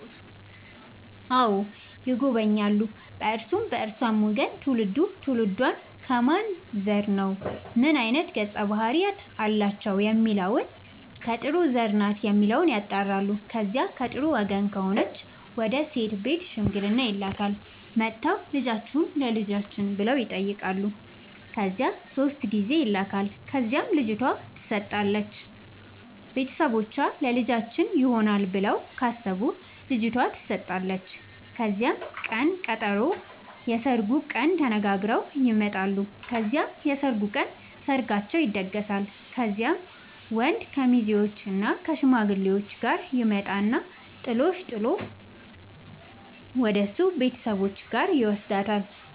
አዎ ይጎበኛሉ በእርሱም በእርሷም ወገን ትውልዱ ትውልዷ ከማን ዘር ነው ምን አይነት ገፀ ባህርያት አላቸው የሚለውን ከጥሩ ዘር ናት የሚለውን ያጣራሉ። ከዚያ ከጥሩ ወገን ከሆነች ወደ ሴት ቤት ሽምግልና ይላካል። መጥተው ልጃችሁን ለልጃችን ብለው ይጠያቃሉ ከዚያ ሶስት ጊዜ ይላካል ከዚያም ልጅቷ ትሰጣለች ቤተሰቦቿ ለልጃችን ይሆናል ብለው ካሰቡ ልጇቷ ተሰጣለች ከዚያም ቅን ቀጠሮ የስርጉን ቀን ተነጋግረው ይመጣሉ ከዚያም የሰርጉ ቀን ሰርጋቸው ይደገሳል። ከዚያም ወንድ ከሙዜዎችእና ከሽማግሌዎቹ ጋር ይመጣና ጥሎሽ ጥል ወደሱ ቤተሰቦች ጋር ይውስዳታል።